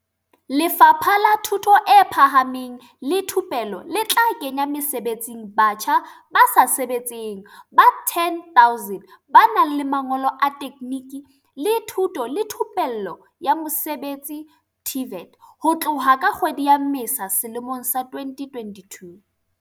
Lefapha la Thuto e Phahameng le Thupelo le tla kenya mesebetsing batjha ba sa sebetseng ba 10 000 ba nang le mangolo a tekgniki le thuto le thupelo ya mosebetsi, TVET, ho tloha ka kgwedi ya Mmesa selemong sa 2022.